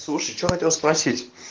слушай что хотел спросить